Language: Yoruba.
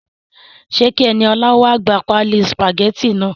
Ṣe kí Eniolá wa gbà páálí sùpàgétì náà?